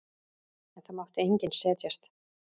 En það mátti enginn setjast.